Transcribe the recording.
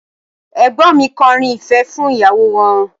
Ẹ̀gbọ́n mi kọrin ìfẹ́ fún ìyàwó wọn